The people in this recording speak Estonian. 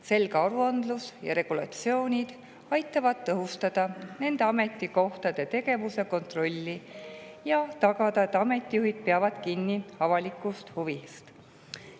Selge aruandlus ja regulatsioonid aitavad tõhustada kontrolli ameti tegevuse üle ja tagada, et avalikkuse.